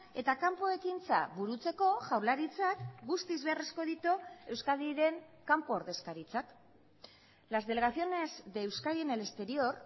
eta kanpo ekintza burutzeko jaurlaritzak guztiz beharrezko ditu euskadiren kanpo ordezkaritzak las delegaciones de euskadi en el exterior